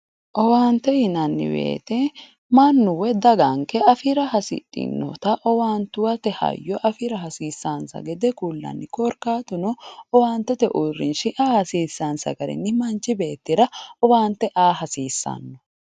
Owaaante yinanni woyiite mannu woy daganke afira hasidhinota owaantuwate hayyo afira hasiisaansa gede kullanni. Korkaatuno owaantete uurrinsha aa hasiisaansa garinni manchi beettira owaante aa hasiissanno.